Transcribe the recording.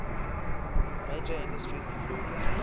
major industries include